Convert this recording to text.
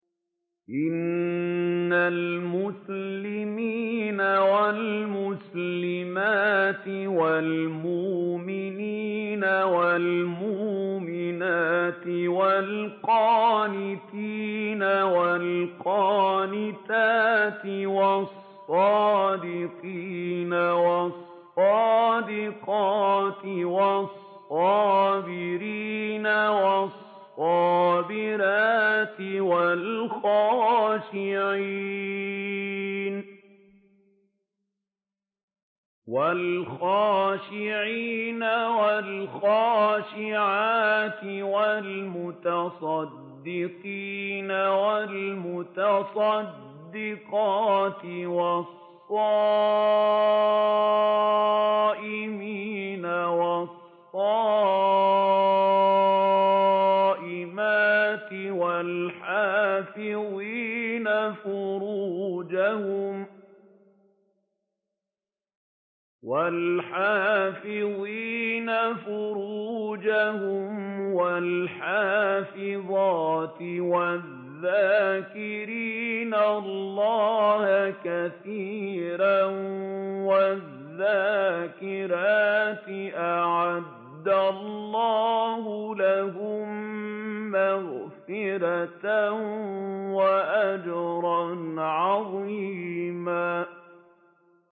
إِنَّ الْمُسْلِمِينَ وَالْمُسْلِمَاتِ وَالْمُؤْمِنِينَ وَالْمُؤْمِنَاتِ وَالْقَانِتِينَ وَالْقَانِتَاتِ وَالصَّادِقِينَ وَالصَّادِقَاتِ وَالصَّابِرِينَ وَالصَّابِرَاتِ وَالْخَاشِعِينَ وَالْخَاشِعَاتِ وَالْمُتَصَدِّقِينَ وَالْمُتَصَدِّقَاتِ وَالصَّائِمِينَ وَالصَّائِمَاتِ وَالْحَافِظِينَ فُرُوجَهُمْ وَالْحَافِظَاتِ وَالذَّاكِرِينَ اللَّهَ كَثِيرًا وَالذَّاكِرَاتِ أَعَدَّ اللَّهُ لَهُم مَّغْفِرَةً وَأَجْرًا عَظِيمًا